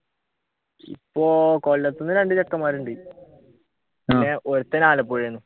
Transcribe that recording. ഇപ്പൊ കൊല്ലത്തു നിന്ന് രണ്ടു ചെക്കന്മാർ ഉണ്ട് പിന്നെ ഒരുത്തൻ ആലപ്പുഴയിൽ നിന്നും